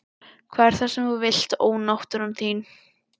Hvað er það sem þú vilt ónáttúran þín?